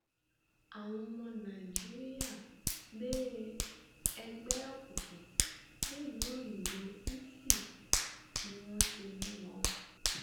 àwọn ọmọ nàìjíríà gbé ẹgbẹ òkùnkùn dèlùú òyìnbó italy ni wọn ti mú wọn